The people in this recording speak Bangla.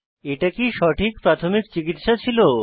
এটা কি সঠিক প্রাথমিক চিকিত্সা ছিল